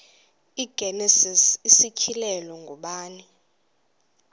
igenesis isityhilelo ngubani